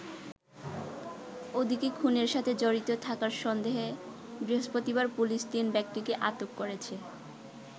ওদিকে খুনের সাথে জড়িত থাকার সন্দেহে বৃহস্পতিবার পুলিশ তিন ব্যক্তিকে আটক করেছে।